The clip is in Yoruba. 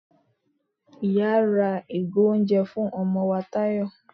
iyá ra ìgò oúnjẹ fún ọmọ wá tayọ